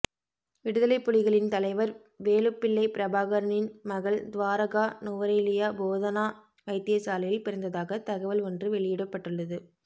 விடுதலைப்புலிகளின் தலைவர் வேலுப்பிள்ளை பிரபாகரனின் மகள் துவாரகா நுவரெலியா போதனா வைத்தியசாலையில் பிறந்ததாக தகவல் ஒன்று வெளியிடப்பட்டுள்ளது